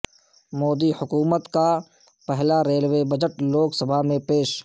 مودی حکومت کا پہلا ریلوے بجٹ لوک سبھا میں پیش